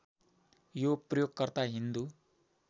यो प्रयोगकर्ता हिन्दू